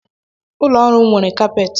Ụlọ ọrụ m nwere capet.